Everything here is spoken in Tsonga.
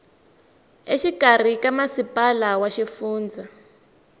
exikarhi ka masipala wa xifundza